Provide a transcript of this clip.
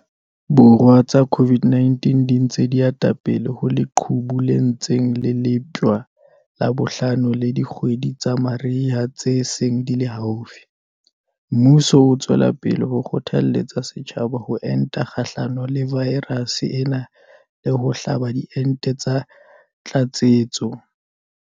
Borwa tsa COVID-19 di ntse di ata pele ho leqhubu le ntseng le leptjwa la bohlano le dikgwedi tsa mariha tse seng di le haufi, mmuso o tswela pele ho kgothaletsa setjhaba ho enta kgahlano le vaerase ena le ho hlaba diente tsa tlatsetso.